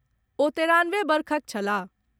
ओ तेरानवे वर्षक छलाह।